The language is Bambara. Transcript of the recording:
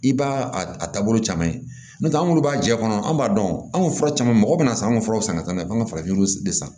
I b'a a taabolo caman ye n'o tɛ an minnu b'a jɛ kɔnɔ an b'a dɔn an ka fura caman mɔgɔ bɛ na san an ka furaw san ka taa n'a ye an bɛ an ka farafin de san